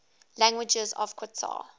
languages of qatar